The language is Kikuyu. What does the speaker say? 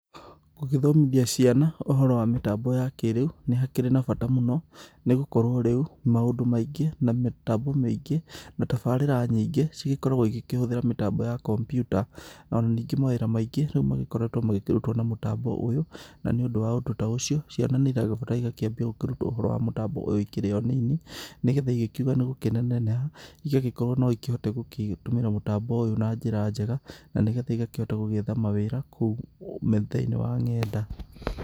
Gũgĩthomithia ciana ũhoro wa mĩtambo ya kĩrĩu nĩ hakĩrĩ na bata mũno nĩ gũkorwo rĩu maũndũ maingĩ na mĩtambo mĩingĩ na tabarĩra nyingĩ cigĩkoragwo igĩkĩhũthĩra mĩbango ya kompyuta ona ningĩ mawĩra maingĩ makoretwo makĩrutwo na mĩtambo ũyũ, na nĩ ũndũ wa ũndũ ta ũcio ciana nĩ ĩragĩbatara ĩgakĩambia kũrutwo ũhoro wa mĩtambo ĩno ikĩrĩ o nini nĩgetha ikĩuga nĩ gũkĩneneha igagĩkorwo no igĩkĩhote gũgĩtũmĩra mĩtambo ũyũ na njĩra njega na nĩgetha igakĩhota gwetha mawĩra kũu metha-inĩ wa nenda.